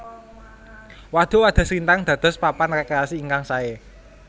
Wadhuk Wadhaslintang dados papan rekreasi ingkang sae